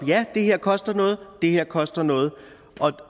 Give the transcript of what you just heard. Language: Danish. ja det her koster noget og det her koster noget